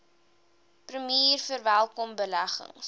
premier verwelkom beleggings